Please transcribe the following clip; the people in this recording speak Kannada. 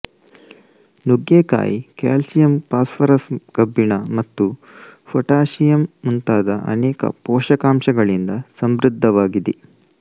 ನುಗ್ಗೆ ಕಾಯಿ ಕ್ಯಾಲ್ಸಿಯಂ ಫಾಸ್ಪರಸ್ ಕಬ್ಬಿಣ ಮತ್ತು ಪೊಟ್ಯಾಸಿಯಮ್ ಮುಂತಾದ ಅನೇಕ ಪೋಷಕಾಂಶಗಳಿಂದ ಸಮೃದ್ಧವಾಗಿದೆ